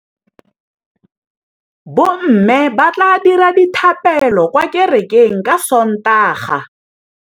Bommê ba tla dira dithapêlô kwa kerekeng ka Sontaga.